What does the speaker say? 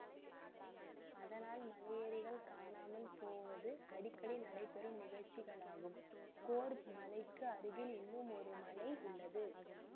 அதனால் மலையேறிகள் காணாமல் போவது அடிக்கடி நடைபெறும் நிகழ்ச்சிகளாகும் கொர்பு மலைக்கு அருகில் இன்னும் ஒரு மலை உள்ளது